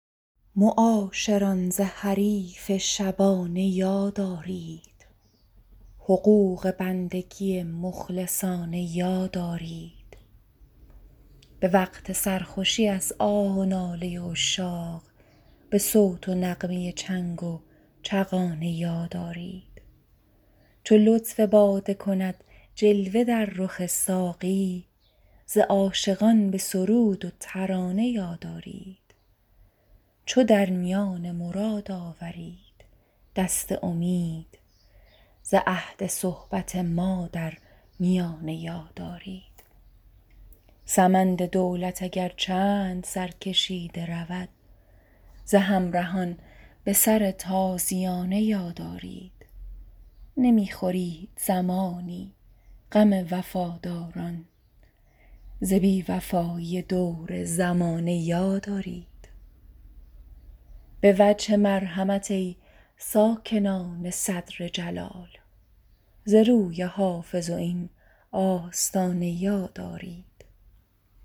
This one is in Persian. معاشران ز حریف شبانه یاد آرید حقوق بندگی مخلصانه یاد آرید به وقت سرخوشی از آه و ناله عشاق به صوت و نغمه چنگ و چغانه یاد آرید چو لطف باده کند جلوه در رخ ساقی ز عاشقان به سرود و ترانه یاد آرید چو در میان مراد آورید دست امید ز عهد صحبت ما در میانه یاد آرید سمند دولت اگر چند سرکشیده رود ز همرهان به سر تازیانه یاد آرید نمی خورید زمانی غم وفاداران ز بی وفایی دور زمانه یاد آرید به وجه مرحمت ای ساکنان صدر جلال ز روی حافظ و این آستانه یاد آرید